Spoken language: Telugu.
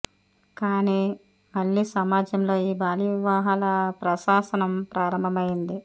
కాని మళ్ళీ సమజాంలో ఈ బాల్య వివా హాల ప్రహాసనం ప్రారంభమైంది